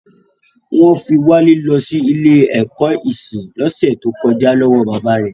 Wọ́n fi Wale lọ sí ilé ẹ̀kọ́ ẹ̀kọ́ ìsìn lọ́sẹ̀ tó kọjá lọ́wọ́ bàbá rẹ̀